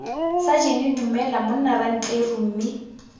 sajene dumela monna rantleru mme